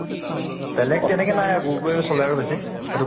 বেলেগ তেনেকে নাই গুড়্তোই চলে আৰু বেছি সেটো